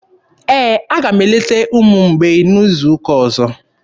Ee, aga m eleta ụmụ mgbei n'izu ụka ọzọ.